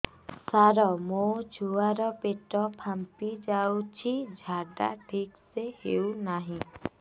ସାର ମୋ ଛୁଆ ର ପେଟ ଫାମ୍ପି ଯାଉଛି ଝାଡା ଠିକ ସେ ହେଉନାହିଁ